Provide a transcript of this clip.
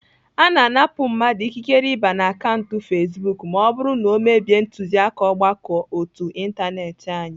Ana anapụ mmadụ ikikere ịba na akaụntụ fezbuk ma ọ bụrụ na ọ mebie ntuziaka ọgbakọ ótú ịntanetị anyị